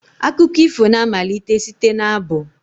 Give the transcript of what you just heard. Akụkọ ifo na-amalite site n'abụ.